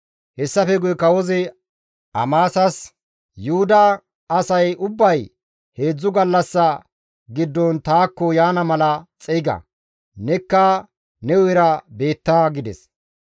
Hessafe guye kawozi Amasas, «Yuhuda asay ubbay heedzdzu gallassa giddon taakko yaana mala xeyga; nekka ne hu7era beetta» gides.